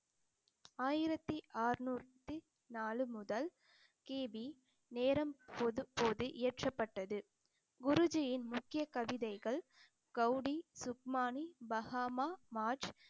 ஆயிரத்தி அறுநூத்தி நாலு முதல் கி. பி நேரம் பொது போது ஏற்றப்பட்டது குருஜியின் முக்கிய கவிதைகள் கௌடி, சுப்மானி, பகாமா